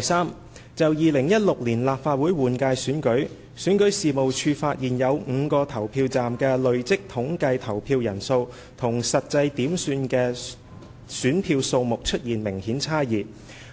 三就2016年立法會換屆選舉，選舉事務處發現有5個投票站的累積統計投票人數與實際點算的選票數目出現明顯差異，